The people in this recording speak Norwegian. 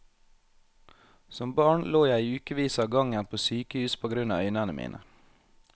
Som barn lå jeg i ukevis av gangen på sykehus på grunn av øynene mine.